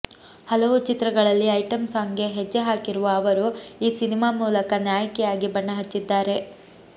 ಹಲವು ಚಿತ್ರಗಳಲ್ಲಿ ಐಟಂ ಸಾಂಗ್ಗೆ ಹೆಜ್ಜೆ ಹಾಕಿರುವ ಅವರು ಈ ಸಿನಿಮಾ ಮೂಲಕ ನಾಯಕಿಯಾಗಿ ಬಣ್ಣಹಚ್ಚಿದ್ದಾರೆ